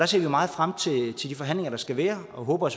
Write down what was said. ser meget frem til de forhandlinger der skal være og håber